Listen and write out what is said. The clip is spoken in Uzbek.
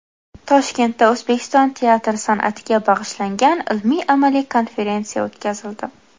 Toshkentda O‘zbekiston teatr san’atiga bag‘ishlangan ilmiy-amaliy konferensiya o‘tkazildi.